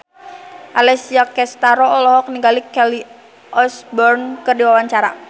Alessia Cestaro olohok ningali Kelly Osbourne keur diwawancara